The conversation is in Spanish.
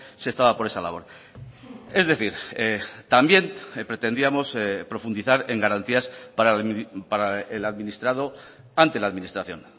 se estaba por esa labor es decir también pretendíamos profundizar en garantías para el administrado ante la administración